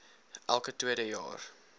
elke tweede jaar